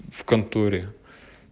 в конторе